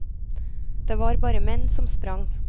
Det var bare menn som sprang.